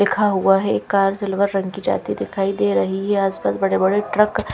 लिखा हुआ है कार सिल्वर रंग की जाती दिखाई दे रही है आसपास बड़े बड़े ट्रक --